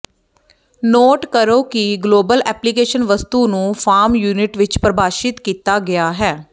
note ਕਰੋ ਕਿ global application ਵਸਤੂ ਨੂੰ ਫਾਰਮ ਯੂਨਿਟ ਵਿੱਚ ਪਰਿਭਾਸ਼ਿਤ ਕੀਤਾ ਗਿਆ ਹੈ